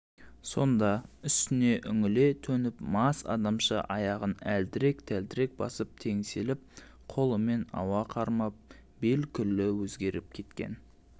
сонда үстіне үңіле төніп мас адамша аяғын әлтірек-тәлтірек басып теңселіп қолымен ауа қармап бел күллі өзгеріп кеткен